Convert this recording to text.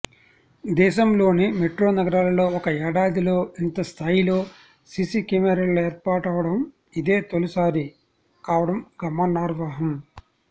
దేశంలోని మెట్రో నగరాలలో ఒక ఏడాదిలో ఇంత స్థాయిలో సిసి కెమెరాలు ఏర్పాటవడం ఇదే తొలిసారి కావడం గమనార్హం